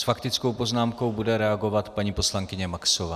S faktickou poznámkou bude reagovat paní poslankyně Maxová.